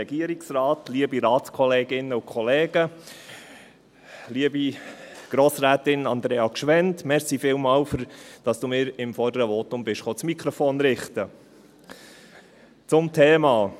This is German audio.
Liebe Grossrätin Andrea Gschwend, vielen Dank, dass du mir beim vorderen Votum das Mikrofon richten gekommen bist.